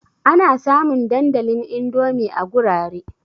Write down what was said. Ana samun dandalin Indomi a gurare.